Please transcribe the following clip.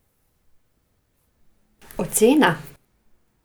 Ocena?